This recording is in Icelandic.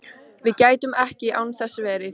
Við gætum ekki án þess verið